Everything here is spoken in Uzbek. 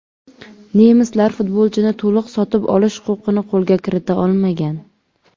Nemislar futbolchini to‘liq sotib olish huquqini qo‘lga kirita olmagan.